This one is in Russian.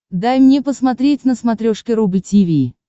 дай мне посмотреть на смотрешке рубль ти ви